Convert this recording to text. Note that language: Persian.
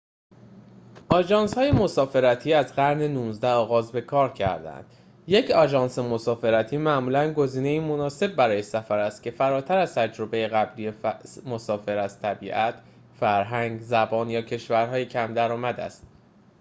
آژانس‌های مسافرتی از قرن ۱۹ آغاز به‌کار کرده‌اند یک آژانس مسافرتی معمولاً گزینه‌ای مناسب برای سفری است که فراتر از تجربه قبلی مسافر از طبیعت فرهنگ زبان یا کشورهای کم درآمد است